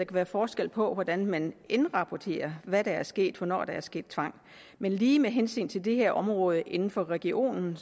være forskel på hvordan man indrapporterer hvad der er sket og hvornår der er sket tvang men lige med hensyn til det her område inden for regionen